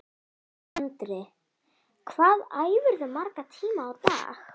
Andri: Hvað æfirðu marga tíma á dag?